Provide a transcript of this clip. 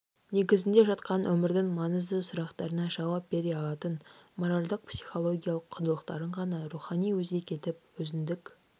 негізінде жатқан өмірдің маңызды сұрақтарына жауап бере алатын моральдық-психологиялық құндылықтарын ғана рухани өзек етіп өзіндік